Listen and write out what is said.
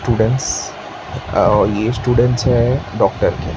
Students अ ये students है डॉक्टर के।